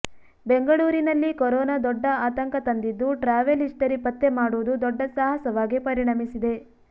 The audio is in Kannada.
ಬೆಂಗಳೂರಿನಲ್ಲಿ ಕೊರೋನಾ ದೊಡ್ಡ ಆತಂಕ ತಂದಿದ್ದು ಟ್ರಾವೆಲ್ ಹಿಸ್ಟರಿ ಪತ್ತೆ ಮಾಡುವುದು ದೊಡ್ಡ ಸಾಹಸವಾಗಿ ಪರಿಣಮಿಸಿದೆ